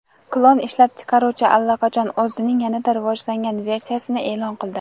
klon ishlab chiqaruvchisi allaqachon o‘zining yanada rivojlangan versiyasini e’lon qildi.